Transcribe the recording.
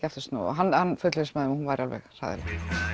aftur snúið hann fullvissaði mig hún væri alveg hræðileg